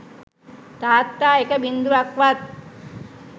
තාත්තා එක බිංදුවක්වත්